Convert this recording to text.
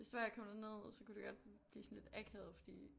Hvis det var jeg kommet derned så kunne det godt blive sådan lidt akavet fordi